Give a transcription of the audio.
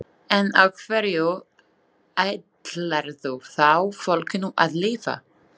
En á hverju ætlarðu þá fólkinu að lifa?